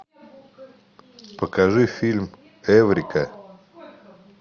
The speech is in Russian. покажи фильм эврика